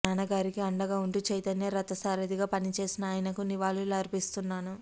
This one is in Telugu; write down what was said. నాన్నగారికి అండగా ఉంటూ చైతన్య రథసారధిగా పనిచేసిన ఆయనకు నివాళులు అర్పిస్తున్నాను